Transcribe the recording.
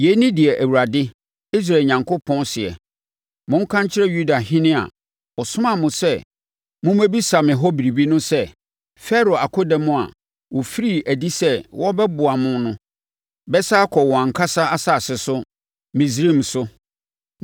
“Yei ne deɛ Awurade, Israel Onyankopɔn, seɛ: Monka nkyerɛ Yudahene a, ɔsomaa mo sɛ mommɛbisa me hɔ biribi no sɛ, ‘Farao akodɔm a wɔfirii adi sɛ wɔrebɛboa mo no bɛsane akɔ wɔn ankasa asase so, Misraim so.